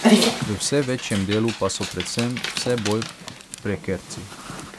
V vse večjem delu pa so predvsem vse bolj prekerci.